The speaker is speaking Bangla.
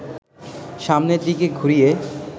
সামনের দিকে ঘুরিয়ে